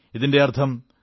ഇതിന്റെ അർഥം